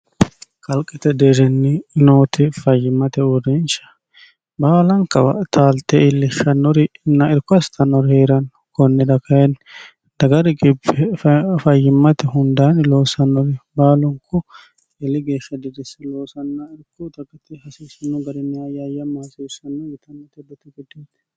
kalqete deerinni nooti fayyimmate uureensha baalanka taalte iillishshannorinna irkko astannori heeranno konnida kayinni daga riqibbe fayyimmate hundaani loosannori baalunku eeli geeshsha dirisse loosanna irko dagate hasiissanno garinni ayyaayamma hasiissanno yitanote hedote gedeete.